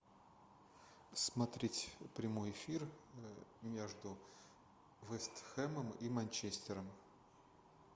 смотреть прямой эфир между вест хэмом и манчестером